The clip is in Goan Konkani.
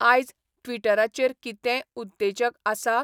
आयज ट्विटराचेर कितेंय उत्तेजक आसा ?